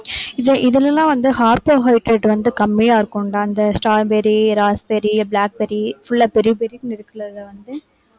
இந்த இதிலெல்லாம் வந்து carbohydrate வந்து கம்மியா இருக்கும்டா அந்த strawberry, raspberry, blackberry full ஆ berry berry னு இருக்கறதுல வந்து